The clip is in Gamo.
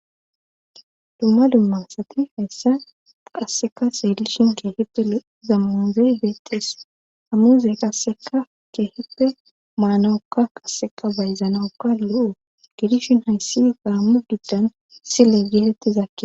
dumma dumma asati hayssa qasseka seelishin keehippe zamanzey beexes hamuze qasseka keehippe maanawukka qasseka bayzanawukka lo7o gidishin hayssi gaammu giddan sile geeletti zakki